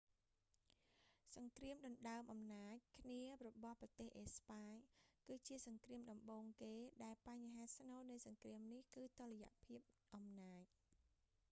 សង្គ្រាមដណ្តើមអំណាចគ្នារបស់ប្រទេសអេស្ប៉ាញ គឺជាសង្គ្រាមដំបូងគេ ដែលបញ្ហាស្នូលនៃសង្គ្រាមនេះ គឺតុល្យភាពអំណាច